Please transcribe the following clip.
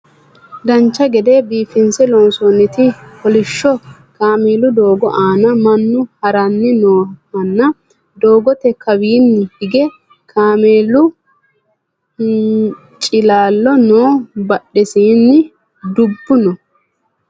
dancha gede biifinse loonsoonnite kolishsho kameelu doogo aana mannu harani noohanna doogote kawaanni hige kameelu hincilaallo no badhensaanni dubbu no